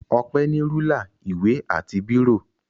Ọpẹ́ ní rúlà, ìwé àti bírò.